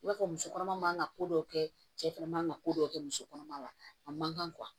I b'a fɔ musokɔnɔma man ka ko dɔw kɛ cɛ fɛnɛ man ka ko dɔw kɛ musokɔnɔma la a man kan